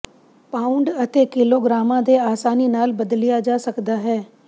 pound ਅਤੇ ਕਿਲੋਗ੍ਰਾਮਾਂ ਦੇ ਆਸਾਨੀ ਨਾਲ ਬਦਲਿਆ ਜਾ ਸਕਦਾ ਹੈ